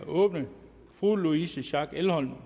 åbnet fru louise schack elholm